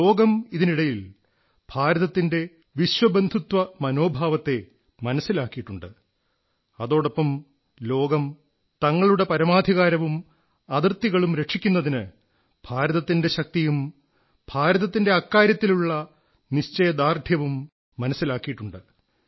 ലോകം ഇതിനിടയിൽ ഭാരതത്തിന്റെ വിശ്വബന്ധുത്വമനോഭാവത്തെ മനസ്സിലാക്കിയിട്ടുണ്ട് അതോടൊപ്പം ലോകം തങ്ങളുടെ പരമാധികാരവും അതിർത്തികളും രക്ഷിക്കുന്നതിന് ഭാരതത്തിന്റെ ശക്തിയും ഭാരതത്തിന്റെ അക്കാര്യത്തിലുള്ള നിശ്ചയദാർഢ്യവും മനസ്സിലാക്കിയിട്ടുണ്ട്